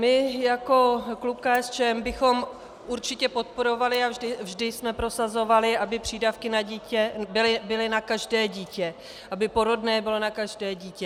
My jako klub KSČM bychom určitě podporovali a vždy jsem prosazovali, aby přídavky na dítě byly na každé dítě, aby porodné bylo na každé dítě.